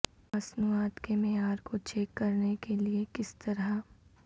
مصنوعات کے معیار کو چیک کرنے کے لئے کس طرح